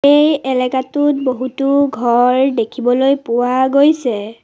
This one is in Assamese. এই এলেকাটোত বহুতো ঘৰ দেখিবলৈ পোৱা গৈছে।